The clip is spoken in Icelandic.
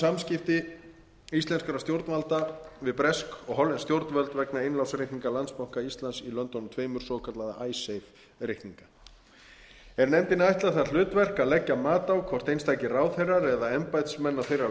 samskipti íslenskra stjórnvalda við bresk og hollensk stjórnvöld vegna innlánsreikninga landsbanka íslands í löndunum tveimur svokallaða icesave reikninga er nefndinni ætlað það hlutverk að leggja mat á hvort einstakir ráðherrar eða embættismenn á þeirra